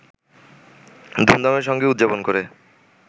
ধুমধামের সঙ্গে উদযাপন করে